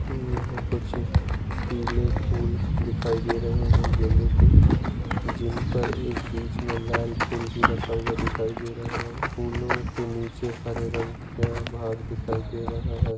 यहाँ कुछ पीले फूल दिखाई दे रहे है गेंदे के जिनपर एक बीच मे लाल फूल भी रखा हुआ दिखाई दे रहा है फूलों के नीचे हरे रंग का भाग दिखाई दे रहा है।